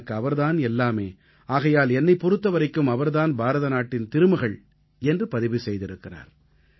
எனக்கு அவர் தான் எல்லாமே ஆகையால் என்னைப் பொறுத்த வரைக்கும் அவர் தான் பாரதநாட்டுத் திருமகள் என்று பதிவு செய்திருக்கிறார்